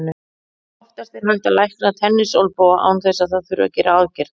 Oftast er hægt að lækna tennisolnboga án þess að það þurfi að gera aðgerð.